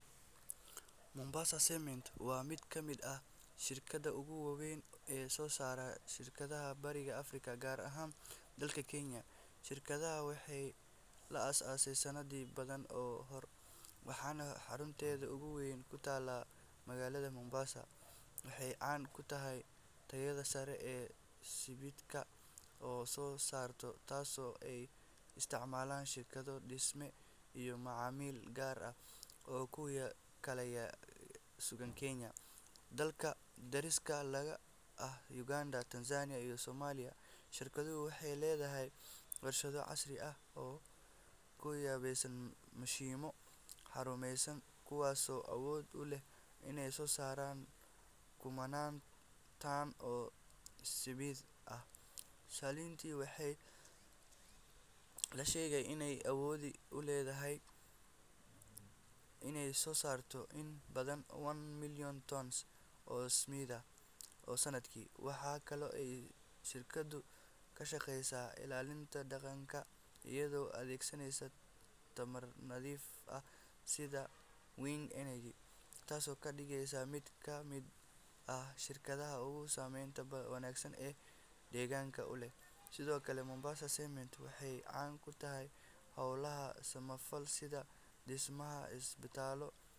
Mombasa Cement waa mid ka mid ah shirkadaha ugu waaweyn ee soo saara sibidhka Bariga Afrika, gaar ahaan dalka Kenya. Shirkaddan waxay la aasaasay sanado badan ka hor, waxaana xarunteeda ugu weyn ku taallaa magaalada Mombasa. Waxay caan ku tahay tayada sare ee sibidhka ay soo saarto, taasoo ay isticmaalaan shirkado dhisme iyo macaamiil gaar ah oo ku kala sugan Kenya iyo dalalka dariska la ah sida Uganda, Tanzania, iyo Soomaaliya. Shirkaddu waxay leedahay warshado casri ah oo ku qalabaysan mashiinno horumarsan, kuwaasoo awood u leh inay soo saaraan kumannaan tan oo sibidh ah maalintii. Waxaa la sheegaa in ay awood u leedahay inay soo saarto in ka badan one million tons oo sibidh ah sanadkii. Waxaa kale oo ay shirkaddu ka shaqeysaa ilaalinta deegaanka iyadoo adeegsanaysa tamar nadiif ah sida wind energy, taasoo ka dhigeysa mid ka mid ah shirkadaha ugu saameynta wanaagsan ee deegaanka u leh. Sidoo kale, Mombasa Cement waxay caan ku tahay howlo samafal sida dhismaha isbitaallo.